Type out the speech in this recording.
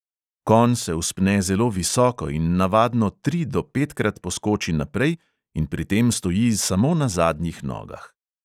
Konj se vzpne zelo visoko in navadno tri- do petkrat poskoči naprej in pri tem stoji samo na zadnjih nogah.